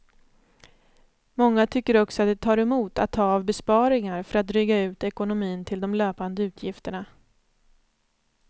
Många tycker också att det tar emot att ta av besparingar för att dryga ut ekonomin till de löpande utgifterna.